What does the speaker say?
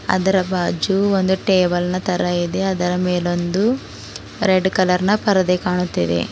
ಅದರ ಬಾಜು ಒಂದು ಟೇಬಲ್ ನ ತರಹ ಇದೆ ಅದರ ಮೇಲೊಂದು ರೆಡ್ ಕಲರ್ ನ ಪರದೆ ಕಾಣುತ್ತಿದೆ.